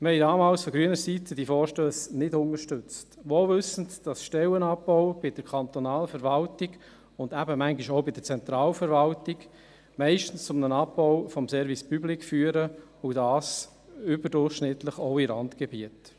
Wir haben damals von grüner Seite diese Vorstösse nicht unterstützt, wohl wissend, dass Stellenabbau bei der kantonalen Verwaltung, und eben manchmal auch bei der Zentralverwaltung, meistens zu einem Abbau des Service public führen, und dies überdurchschnittlich auch in Randgebieten.